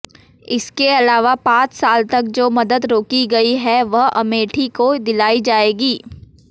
इसके अलावा पांच साल तक जो मदद रोकी गई है वह अमेठी को दिलाई जाएगी